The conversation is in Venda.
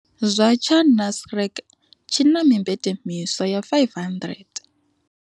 Zwa tsha Nasrec tshi na mimbete miswa ya 500.